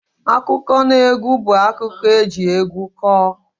Akụkọnaegwu bụ akụkọ eji egwu kọọ